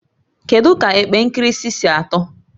Kedu ka epe nkirisi si atọ?